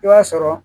I b'a sɔrɔ